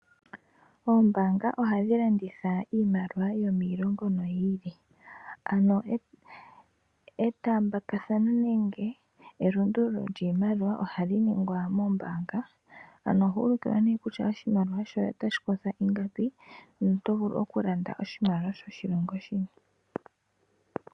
Oombaanga ohadhi landitha iimaliwa yomiilongo yi ili, ano etaambathano nenge elundululo lyiimaliwa ohali ningwa moombaanga, ano oho ulukilwa kutya oshimaliwa shoye otashi kotha ingapi noto vulu okulanda oshimaliwa shoshilongo shini.